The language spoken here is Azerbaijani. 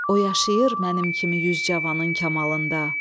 O yaşayır mənim kimi yüz cavanın kəmalında.